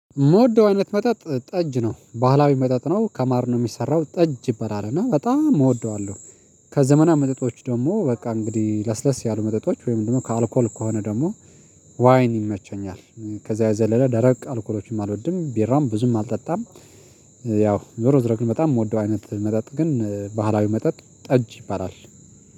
መውደው አይነት መጣጥ ጠጅ ነው ባህላዊ መጣጥ ነው ከማር ነው የሚሰራው ጠጅ ይበላል እና በጣም እወደዋለሁ። ከዘመናዊ መጠጦች ደግሞ በቃ እንግዲህ ለስለስ ያሉ መጠጦች ወይም ደግሞ ከአልኮል ከሆነ ደግሞ ዋይን ይመቸኛል። ከዛ የዘለለ ደረቅ አልኮሎችም አልወድም ቢራውን ብዙም አልጠጣም። ያው ዞሮ ዝሮ ግን በጣም የምወደው አይነት መጠጥ ግን ባህላዊ መጠጥ ጠጅ ይባላል